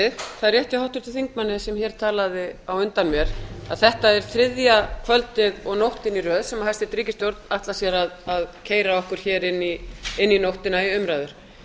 er rétt hjá háttvirtum þingmanni sem hér talaði á undan mér að þetta er þriðja kvöldið og nóttin í röð sem hæstvirt ríkisstjórn ætlar sér að keyra okkur hér inn í nóttina í umræður